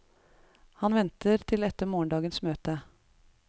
Han venter til etter morgendagens møte.